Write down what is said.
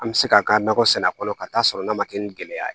An bɛ se ka nakɔ sɛnɛ a kɔnɔ ka taa sɔrɔ n'a ma kɛ ni gɛlɛya ye